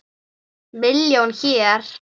Milljón hér.